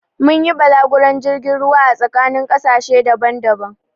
Mun yi balaguron jirgin ruwa a tsakanin ƙasashe daban-daban